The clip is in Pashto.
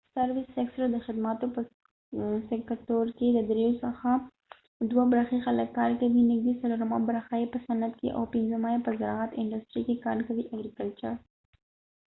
د خدماتو په سکتور service sector کې ددرېو څخه دوه برخی خلک کار کوي نږدې څلورمه برخه یې په صنعت industry کې او پنځمه یې په زراعت agricultureکې کار کوي